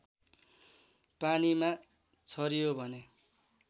पानीमा छरियो भने